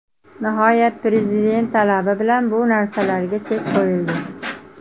Nihoyat Prezident talabi bilan bu narsalarga chek qo‘yildi.